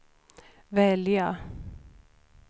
välja